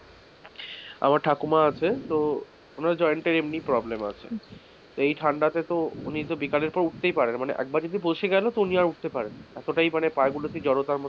আমার ঠাকুমা আছে তো উনার joint এ এমনিই problem আছে এই ঠান্ডাতে তো উনি তো বিকালের পর উঠতেই পারেন না একবার যদি বসে গেলো তো উনি আর উঠতেই পারেনা না, এতটাই পাগুলোতে জড়তা মতন,